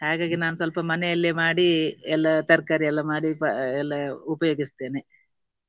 ಹಾಗಾಗಿ ನಾನು ಸ್ವಲ್ಪ ಮನೆಯಲ್ಲೇ ಮಾಡಿ ಎಲ್ಲ ತರ್ಕಾರಿ ಎಲ್ಲ ಮಾಡಿ ಎಲ್ಲ ಉಪಯೋಗಿಸ್ತೇನೆ.